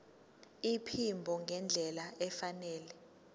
iphimbo ngendlela efanele